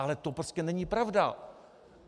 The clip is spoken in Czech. Ale to prostě není pravda.